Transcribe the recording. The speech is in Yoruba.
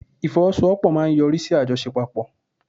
Ifowosowopo maa n yori si ajosepapo